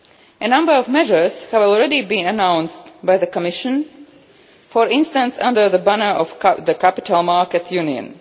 A number of measures have already been announced by the Commission, for instance under the banner of the capital market union.